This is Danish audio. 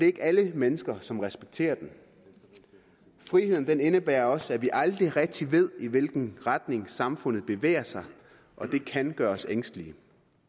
ikke alle mennesker som respekterer den friheden indebærer også at vi aldrig rigtig ved i hvilken retning samfundet bevæger sig og det kan gøre os ængstelige